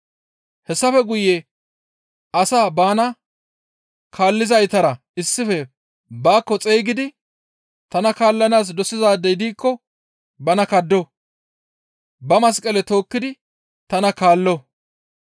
Hessafe guye asaa bana kaallizaytara issife baakko xeygidi, «Tana kaallanaas dosizaadey diikko bana kaddo; ba masqale tookkidi tana kaallo.